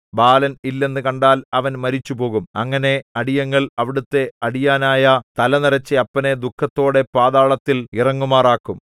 ബാലൻ ഇല്ലെന്നു കണ്ടാൽ അവൻ മരിച്ചുപോകും അങ്ങനെ അടിയങ്ങൾ അവിടത്തെ അടിയാനായ തലനരച്ച അപ്പനെ ദുഃഖത്തോടെ പാതാളത്തിൽ ഇറങ്ങുമാറാക്കും